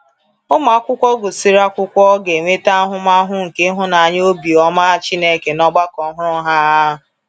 Ụmụ akwụkwọ gụsịrị akwụkwọ ga-enweta ahụmahụ nke ịhụnanya obi ọma Chineke n’ọgbakọ ọhụrụ ha.